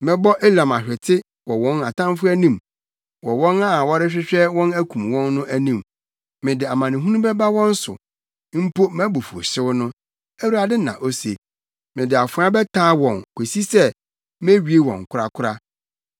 Mɛbɔ Elam ahwete wɔ wɔn atamfo anim, wɔ wɔn a wɔrehwehwɛ wɔn akum wɔn no anim; mede amanehunu bɛba wɔn so mpo mʼabufuwhyew no,” Awurade na ose. “Mede afoa bɛtaa wɔn kosi sɛ, mewie wɔn korakora.